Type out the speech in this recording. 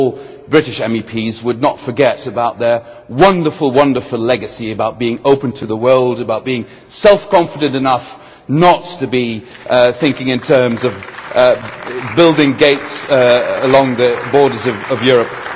that not all British MEPs forgot about their wonderful, wonderful legacy of being open to the world, of being self confident enough not to be thinking in terms of building gates along the borders of Europe.